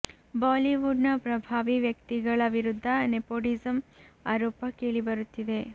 Bollywood ನ ಪ್ರಭಾವಿ ವ್ಯಕ್ತಿಗಳ ವಿರುದ್ಧ ನೆಪೋಟಿಸಂ ಆರೋಪ ಕೇಳಿ ಬರುತ್ತಿದೆ